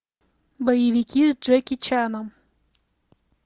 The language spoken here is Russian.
боевики с джеки чаном